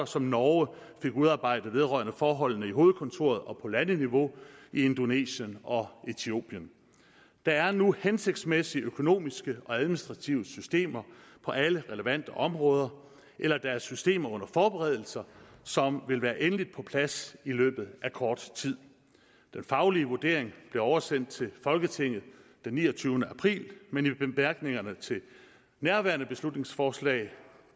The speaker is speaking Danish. som norge fik udarbejdet vedrørende forholdene i hovedkontoret og på landeniveau i indonesien og ethiopien der er nu hensigtsmæssige økonomiske og administrative systemer på alle relevante områder eller der er systemer under forberedelse som vil være endeligt på plads i løbet af kort tid den faglige vurdering blev oversendt til folketinget den niogtyvende april men i bemærkningerne til nærværende beslutningsforslag